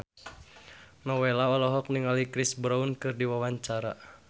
Nowela olohok ningali Chris Brown keur diwawancara